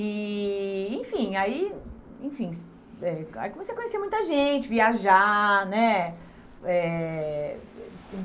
E, enfim, aí enfim, eh aí comecei a conhecer muita gente, viajar, né? Eh